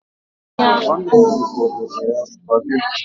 Nwanne ya rifọrọ ya spageti